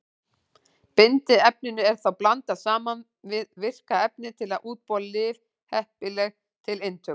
Bindiefninu er þá blandað saman við virka efnið til að útbúa lyf heppileg til inntöku.